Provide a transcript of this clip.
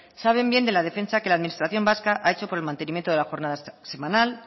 saben bien de la defensa que la administración vasca ha hecho por el mantenimiento de la jornada semanal